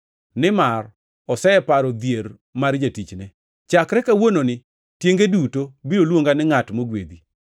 nimar oseparo dhier mar jatichne. Chakre kawuononi tienge duto biro luonga ni ngʼat mogwedhi,